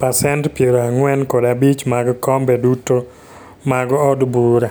pasent piero ang'wen kod abich mag kombe duto mag od bura.